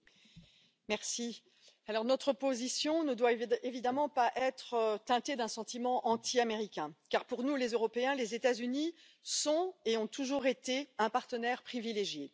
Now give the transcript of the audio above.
Madame la Présidente, notre position ne doit évidemment pas être teintée d'un sentiment anti américain, car pour nous, Européens, les États Unis sont et ont toujours été un partenaire privilégié.